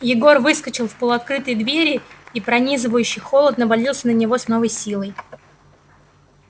егор выскочил в полуоткрытые двери и пронизывающий холод навалился на него с новой силой